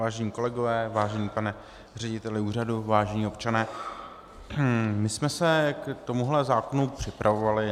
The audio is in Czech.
Vážení kolegové, vážený pane řediteli úřadu, vážení občané, my jsme se k tomuto zákonu připravovali.